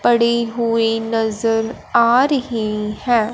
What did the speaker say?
पड़ी हुई नज़र आ रही है।